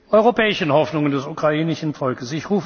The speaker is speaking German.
die legitimen europäischen Hoffnungen des